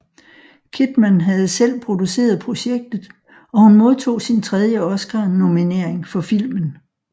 Kidman havde selv produceret projektet og hun modtog sin tredje Oscar nominering for filmen